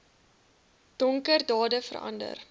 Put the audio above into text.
donker dade verander